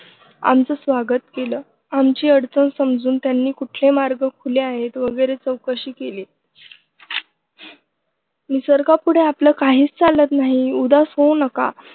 आमचं स्वागत केलं. आमची अडचण समजून त्यांनी कुठले मार्ग खुले आहेत वगैरे चौकशी केली. निसर्गापुढे आपलं काहीच चालत नाही. उदास होऊ नका.